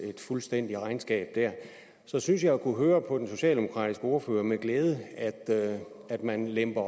fuldstændigt regnskab så synes jeg at jeg kunne høre på den socialdemokratiske ordfører og med glæde at man vil lempe